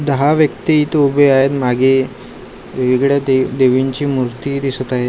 दहा व्यक्ती इथे उभे आहेत मागे वेगळे दे देवीचीं मूर्ती दिसत आहे.